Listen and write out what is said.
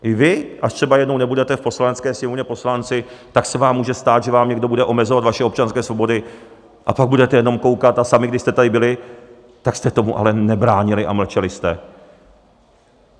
I vy, až třeba jednou nebudete v Poslanecké sněmovně poslanci, tak se vám může stát, že vám někdo bude omezovat vaše občanské svobody, a pak budete jenom koukat, a sami, když jste tady byli, tak jste tomu ale nebránili a mlčeli jste.